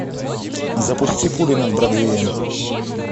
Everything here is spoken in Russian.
запусти пули над бродвеем